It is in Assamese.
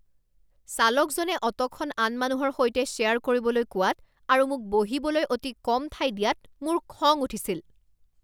চালকজনে অট'খন আন মানুহৰ সৈতে শ্বেয়াৰ কৰিবলৈ কোৱাত আৰু মোক বহিবলৈ অতি কম ঠাই দিয়াত মোৰ খং উঠিছিল।